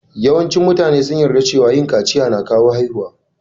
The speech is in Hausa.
Yawancin mutane sun yarda cewa yin kaciya na kawo haihuwa.